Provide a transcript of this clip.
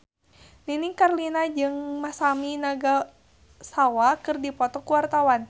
Nini Carlina jeung Masami Nagasawa keur dipoto ku wartawan